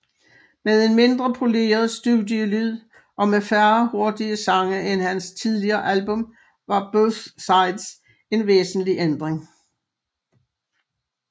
Med en mindre poleret studielyd og med færre hurtige sange end hans tidligere album var Both Sides en væsentlig ændring